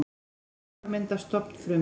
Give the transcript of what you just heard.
Smásjármynd af stofnfrumu.